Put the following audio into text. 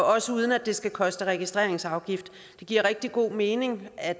også uden at det skal koste registreringsafgift det giver rigtig god mening at